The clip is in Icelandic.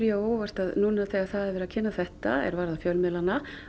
á óvart að núna þegar það er verið að kynna þetta er varðar fjölmiðlana